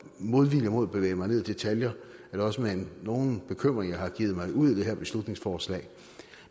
modvilje mod at bevæge mig ned i detaljer er det også med nogen bekymring jeg har begivet mig ud i det her beslutningsforslag